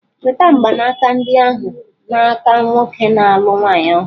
Nweta mgbanaka ndị ahụ n'aka nwoke na-alụ nwaanyị ọhụrụ!